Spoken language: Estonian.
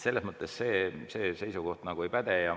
Selles mõttes see seisukoht nagu ei päde.